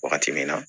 Wagati min na